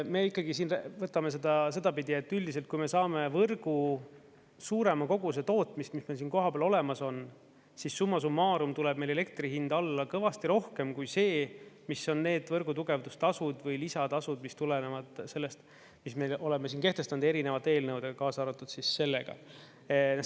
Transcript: Me võtame seda sedapidi, et üldiselt, kui me saame võrku suurema koguse tootmist, mis meil siin kohapeal olemas on, siis summa summarum tuleb meil elektri hind alla kõvasti rohkem kui see, mis on need võrgu tugevduse tasud või lisatasud, mis tulenevad sellest, mis me oleme kehtestanud erinevate eelnõudega, kaasa arvatud sellega.